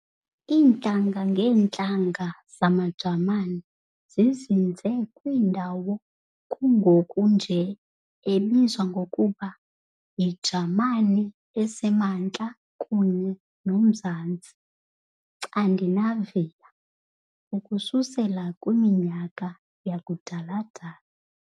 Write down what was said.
Intlanga-ngeentlanga zamaJamani zizinze kwindawo kungoku nje ebizwa ngokuba yiJamani esemaNtla kunye nomzantsi "Scandinavia" ukususela kwiminyaka yakudala-dala.